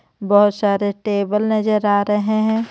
बहोत सारे टेबल नजर आ रहे हे.